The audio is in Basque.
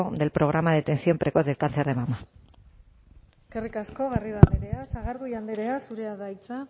del programa de detección precoz del cáncer de mama eskerrik asko garrido andrea sagardui andrea zurea da hitza